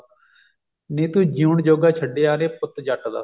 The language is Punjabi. ਨੀ ਤੂੰ ਜਿਊਣ ਜੋਗਾ ਛੱਡਿਆ ਨਾ ਪੁੱਤ ਜੱਟ ਦਾ